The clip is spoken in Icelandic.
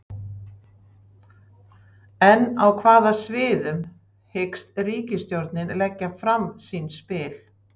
En á hvaða sviðum hyggst ríkisstjórnin leggja fram sín spil?